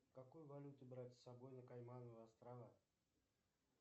какую валюту брать с собой на каймановы острова